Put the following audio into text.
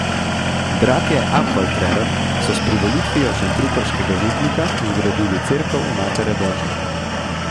Bratje Apfaltrern so s privolitvijo šentruperškega župnika zgradili cerkev Matere božje.